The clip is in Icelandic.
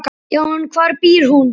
Já, en hvar býr hún?